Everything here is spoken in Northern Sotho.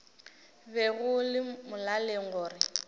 be go le molaleng gore